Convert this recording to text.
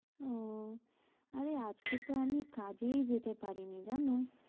ও আরে আজকে তো আমি কাজেই যেতে পারিনি জানো।